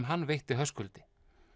hann veitti Höskuldi